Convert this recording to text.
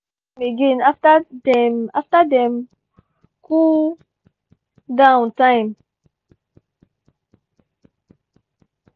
we gree make we check am again after dem after dem cool-down time.